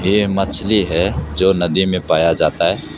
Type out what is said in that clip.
ये मछली है जो नदी में पाया जाता है।